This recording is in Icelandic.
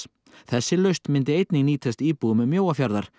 þessi lausn myndi einnig nýtast íbúum Mjóafjarðar